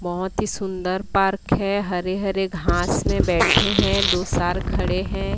बहोत ही सुंदर पार्क है हरे हरे घास में बैठे हैं दो सर खड़े हैं।